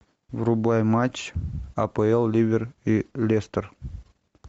врубай матч апл ливер и лестер